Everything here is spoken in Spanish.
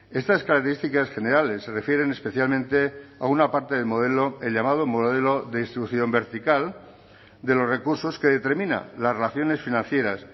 estas características generales se refieren especialmente a una parte del modelo el llamado modelo de distribución vertical de los recursos que determina las relaciones financieras